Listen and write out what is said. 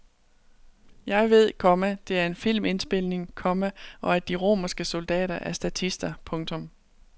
Jeg ved, komma det er en filmindspilning, komma og at de romerske soldater er statister. punktum